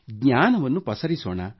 ಜ್ಞಾನವನ್ನು ಪಸರಿಸೋಣ